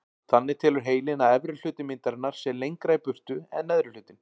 Þannig telur heilinn að efri hluti myndarinnar sé lengra í burtu en neðri hlutinn.